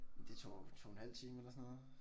Det tog 2 en halv time eller sådan noget